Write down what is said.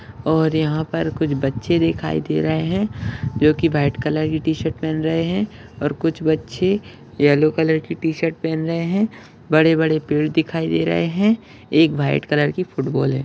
और यहाँ पर कुछ बच्चे दिखाई दे रहे है जो की व्हाइट कलर की टी-शर्ट पेहन रहे है और कुछ बच्चे येल्लो कलर की टी-शर्ट पेहन रहे है बड़े बड़े पेड़ दिखाई दे रहे है एक व्हाइट कलर की फूटबॉल है।